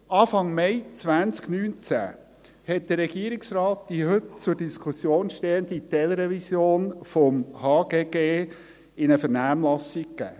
Anfang Mai 2019 gab der Regierungsrat die heute zur Diskussion stehende Teilrevision des HGG in die Vernehmlassung.